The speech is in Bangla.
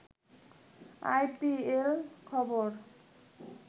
আই পি এল খবর